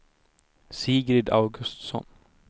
Sigrid Augustsson